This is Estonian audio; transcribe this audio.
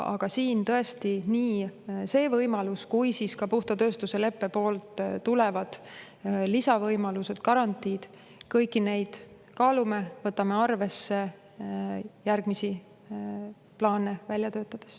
Aga siin tõesti, nii seda võimalust kui ka puhta tööstuse leppest tulevaid lisavõimalusi, garantiisid – kõiki neid me kaalume ja võtame arvesse järgmisi plaane välja töötades.